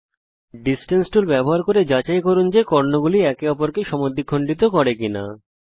distance tool ব্যবহার করে যাচাই করুন যে কর্ণগুলি একে অপরকে সমদ্বিখন্ডিত করে কিনা